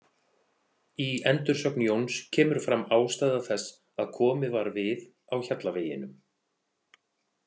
Í endursögn Jóns kemur fram ástæða þess að komið var við á Hjallaveginum.